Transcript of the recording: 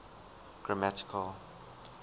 grammatical